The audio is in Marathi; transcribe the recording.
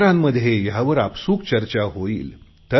मित्रांमध्ये यावर आपसूक चर्चा होईल